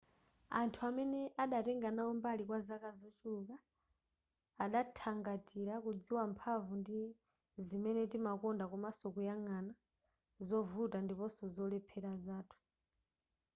anthu amene adatenga nawo mbali kwa zaka zochuluk adathangatira kudziwa mphamvu ndi zimene timakonda komanso kuyang'ana zovuta ndiponso zolephera zathu